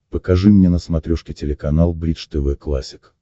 покажи мне на смотрешке телеканал бридж тв классик